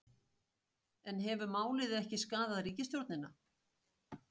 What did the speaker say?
En hefur málið ekki skaðað ríkisstjórnina?